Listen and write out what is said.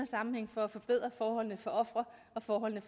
sammenhæng for at forbedre forholdene for ofre og forholdene